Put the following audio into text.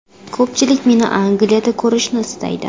Ko‘pchilik meni Angliyada ko‘rishni istaydi.